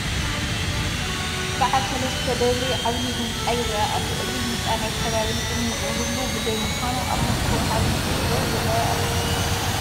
በዓል ሰለስተ ደብሪ ዓብዪ ህንፃ ይርአ ኣሎ፡፡ እዚ ህንፃ ናይ ከባቢ ንፅህንኡ ህሉዉ ብዘይምዃኑ ኣብ መልክዑ ዓብዪ ጐደሎ ይርአ ኣሎ፡፡